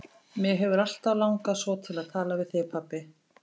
Mig hefur alltaf langað svo til að tala við þig, pabbi.